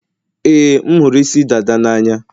ee, m hụrụ isi dada n'anya.